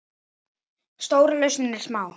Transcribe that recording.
Stóra lausnin er smá!